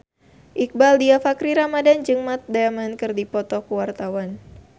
Iqbaal Dhiafakhri Ramadhan jeung Matt Damon keur dipoto ku wartawan